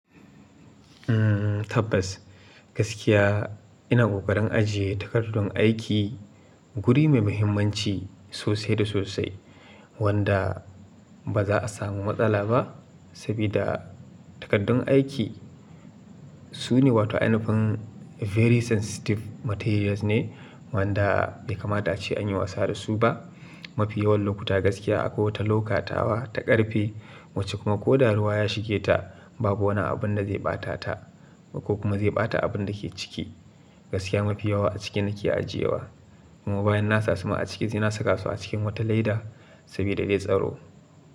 Tabbas, gaskiya ina ƙoƙarin ajiye takardun aiki guri mai muhimmanci sosai da sosai wanda ba za a samu matsala ba. Saboda takardun aiki su ne wato, ainufin very sensitive materials ne wanda bai kamata ace anyi wasa da su ba. Mafi yawan lokuta gaskiya akwai wata loka tawa ta ƙarfe wacce kuma ko da ruwa ya shige ta babu wani abun da zai ɓata ta ko kuma zai ɓata abun dake ciki. Gaskiya mafi yawa a ciki nake ajiyewa kuma bayan na sa su ma a ciki sai na saka su a cikin wata leda saboda dai tsaro.